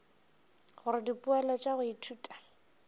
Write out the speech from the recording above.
gore dipoelo tša go ithuta